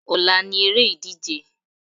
Ọ̀la ni eré ìdíje.